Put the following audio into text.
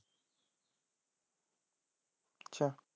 ਅੱਛਾ।